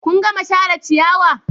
Kun gama share ciyawa?